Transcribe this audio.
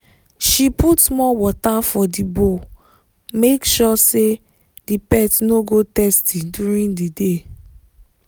she put more water for the bowl make sure say the pet no go thirsty during the day